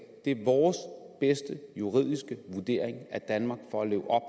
det er vores bedste juridiske vurdering at danmark for at leve op